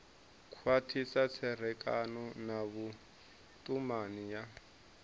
khwathisa tserekano na vhutumani ya